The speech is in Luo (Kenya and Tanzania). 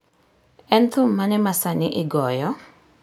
En thum mane masani igoyo?